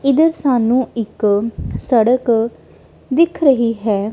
ਇਧਰ ਸਾਨੂੰ ਇੱਕ ਸੜਕ ਦਿਖ ਰਹੀ ਹੈ।